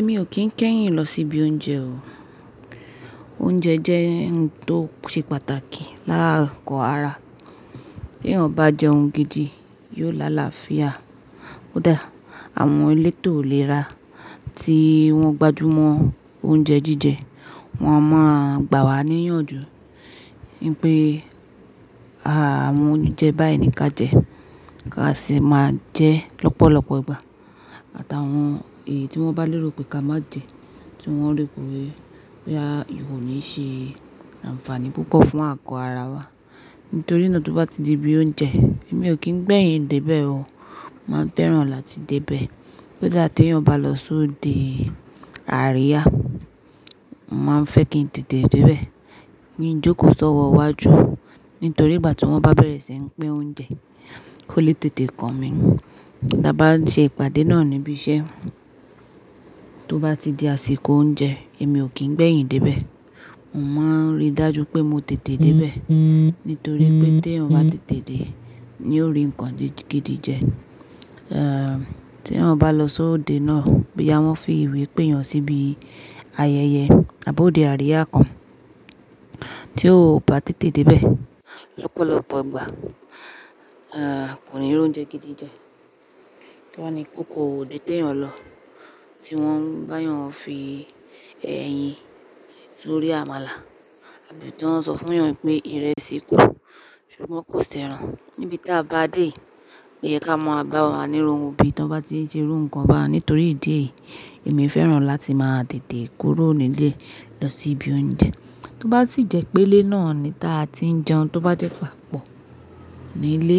Èmi ò kín kẹ́yìn lọ sí ibi oúnjẹ o. Oúnjẹ jẹ́ ohun tó ṣe pàtàkì láàgò ara. Tí èèyàn bá jẹun gidi, yóò lálafíà. Ó dá àwọn elétò iléra tí wọ́n gbajúmọ̀ oúnjẹ jíjẹ, wọ́n máà gbà wá níyànjú wípé, "à àwọn oúnjẹ báyìí ní ká jẹ, ká sì máa jẹ lọ́pọ̀lọpọ̀ ìgbà" àtàwọn èyí tí wọ́n bá lérò pé ká má jẹ, tí wọ́n rí pé, pé a ìwọ̀ ní ṣe ànfàní púpọ̀ fún àgo ara wa. Nítorí náà tó bá di ibi oúnjẹ, èmi ò kín gbẹ̀yìn dé ibẹ̀ o. Màá fẹ́ràn láti dé ibẹ̀. Ó dá tí èèyàn bá lọ sí òde àríyá, màá fẹ́ kí n tètè dé ibẹ̀. Ki jókòó sọ́wọ́ iwájú. Nítorí ìgbà tí wọ́n bá bẹ̀rẹ̀ sí ní pẹ oúnjẹ, kó lè tètè kan mi. Da bá ṣe ìpàdé náà níbí iṣẹ́, tó bá ti di àsìkò oúnjẹ, èmi ò kín gbẹ̀yìn dé ibẹ̀. Mò máa ń rí dájú pé mo tètè dé ibẹ̀. Nítorí pé tí èèyàn bá tètè dé, ni yóò rí ǹkan gidi jẹ. À tí èèyàn bá lọ sóde náà, bí àwọn fi ìwé pè yàn síbi ayẹyẹ àbòde àríyá kan, tí ó bá tètè dé ibẹ̀, lọ́pọ̀lọpọ̀ ìgbà, à kò ní rí oúnjẹ gidi jẹ. Kí wa ní kòkò ò dé tí èèyàn lọ, tí wọ́n bá yàn fi ẹyin sórí àmàlà, àbí tí wọ́n sọ fún yàn wípé ìrẹsì kò, ṣùgbọ́n kò sì eran. Nibíti a bá dé, ìyẹ ká máa bá wa nírun bí tí wọ́n bá ti jí rú ǹkan bá. Nítorí ìdí èyí, èmi fẹ́ràn láti máa tètè kúrò nílé lọ sí ibi oúnjẹ. Tó bá sì jẹ́ pé ilé náà ni táa ti ń jẹun, tó bá jẹ́ pàpọ̀ nílé,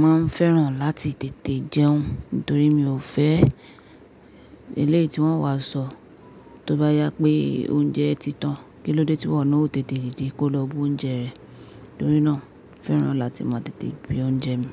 mo fẹ́ràn láti tètè jẹun. Nítorí mi ò fẹ́ eléyi ti wọ́n wá sọ, "tó bá yá pé oúnjẹ ti tán, kí ló dé tí ìwọ náà ò tètè dé kó lọ bù oúnjẹ rẹ." Nítorí náà, fẹ́ràn láti máa tètè bi oúnjẹ mi.